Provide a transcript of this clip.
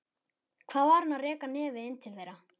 Hvað var hann að reka nefið inn til þeirra?